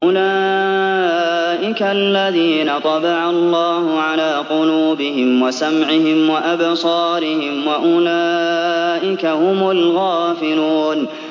أُولَٰئِكَ الَّذِينَ طَبَعَ اللَّهُ عَلَىٰ قُلُوبِهِمْ وَسَمْعِهِمْ وَأَبْصَارِهِمْ ۖ وَأُولَٰئِكَ هُمُ الْغَافِلُونَ